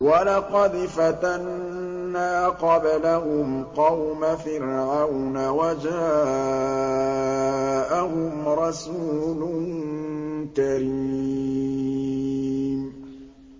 ۞ وَلَقَدْ فَتَنَّا قَبْلَهُمْ قَوْمَ فِرْعَوْنَ وَجَاءَهُمْ رَسُولٌ كَرِيمٌ